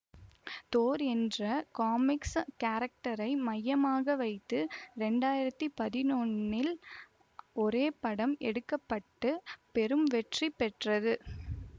Thor என்ற comics கேரக்டரை மையமாக வைத்து இரண்டாயிரத்தி பதினொன்னில் ஒரு படம் எடுக்க பட்டு பெரும் வெற்றி பெற்றது